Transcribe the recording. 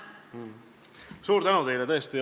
Suur tänu teile!